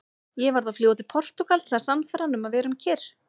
Ég varð að fljúga til Portúgal til að sannfæra hann um að vera kyrr.